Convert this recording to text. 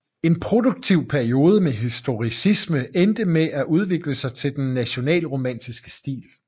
En produktiv periode med historicisme endte med at udvikle sig til den nationalromantiske stil